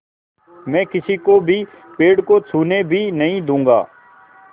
मैं किसी को भी पेड़ को छूने भी नहीं दूँगा